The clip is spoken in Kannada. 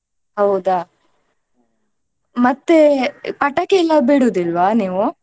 ಹೌದಾ? ಮತ್ತೆ ಪಟಾಕೀಯೆಲ್ಲ ಬಿಡುದಿಲ್ವಾ ನೀವು?